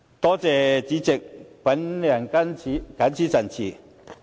多謝代理主席，我謹此陳辭。